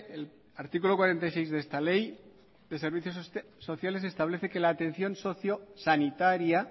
el artículo cuarenta y seis de esta ley de servicio sociales establece que la atención socio sanitaria